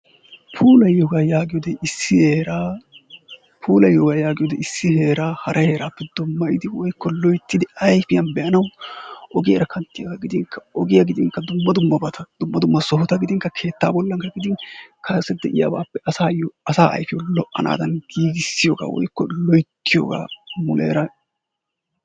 Puulayiyogaa yaagiyode issi heeraa hara heeraappe dummayidi, loyttidi, ayfiyan be'anawu ogiyara kanttiyagaa gidinkka ogiyakka gidinkka dumma dummabata, dumma dumma sohota gidinkka keettaa bollankka gidin kase de'iyabaappe asaayyo, asaa ayfiyawu lo'anaadan giigissiyogaa/loyttiyogaa muleera.